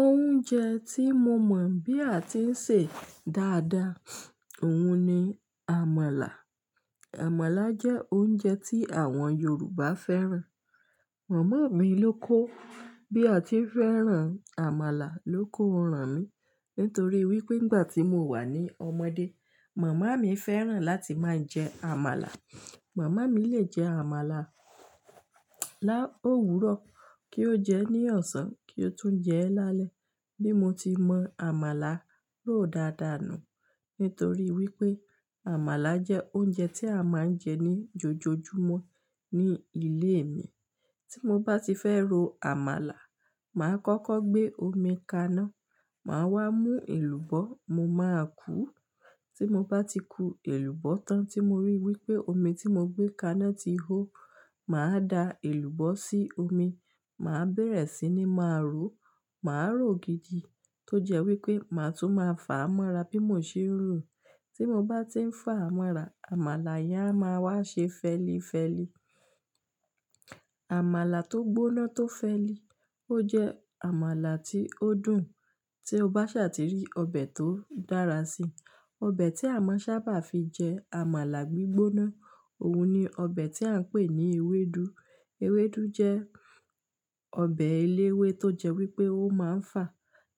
Oúnjẹ tí mo mọ̀ bí a ti ń sè dáadáa, òun ni àmàlà. Àmàlà jẹ́ oúnjẹ tí àwọn Yorùbá fẹ́ràn. Màmá mi ló kó. Bí a ti fẹ́ràn àmàlà ló kó ran mi. Nítorí wípé ìgbà tí mo wà ní ọmọdé, màmá mi fẹ́ràn láti máa ń jẹ àmàlà. Màmá mi lè jẹ àmàlà lá òwúrọ̀ kí ó jẹ ní ọ̀sán kí ó tún jẹ ẹ́ lálẹ́. Bí mo ti mọ àmàlà ró dáadáa nù. Nítorí wípé àmàlà jẹ́ oúnjẹ tí a máa ń jẹ ní jojojúmọ́ ní ilé mi. Tí mo bá ti fẹ́ ro àmàlà, màá kọ́kọ́ gbé omi kaná, màá wá mú èlùbọ́, mo máa kúu. Tí mo bá ti ku èlùbọ́ tán tí mo rí wípé omi tí mo gbé kaná ti hó, màá da èlùbọ́ sí omi, màá bẹ̀rẹ̀ sí ní máa ró. Màá ró gidi tó jẹ́ wípé màá tún máa fà amọ́ra bí mo ṣe ń rò. Tí mo bá ti ń fàa amọ́ra, àmàlà yẹn a máa wá ṣe fẹlifẹli. Àmàlà tó gbóná tó fẹ́li, ó jẹ́ àmàlà tí ó dùn tí o bá sa tí rí ọbẹ̀ tó dára sí. Ọbẹ̀ tí a máa ń sábà fi jẹ àmàlà gbígbóná, òun ni ọbẹ̀ tí à ń pè ní ewédú. Ewédú jẹ́ ọbẹ̀ elewé tó jẹ́ wípé ó máa ń fà.